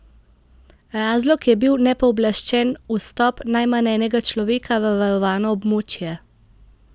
Razlog je bil nepooblaščen vstop najmanj enega človeka v varovano območje.